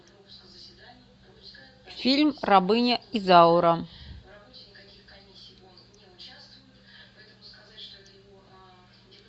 фильм рабыня изаура